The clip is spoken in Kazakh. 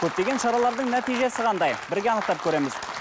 көптеген шаралардың нәтижесі қандай бірге анықтап көреміз